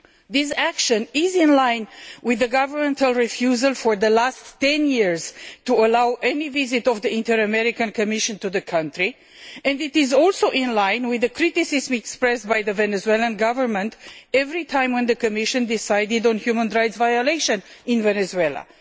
This action is in line with the government's refusal for the last 10 years to allow any visit of the Inter American Commission to the country, and it is also in line with the criticism expressed by the Venezuelan Government every time the Commission decided on human rights violation in Venezuela.